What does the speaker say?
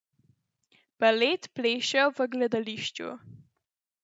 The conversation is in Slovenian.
Balet plešejo v gledališču.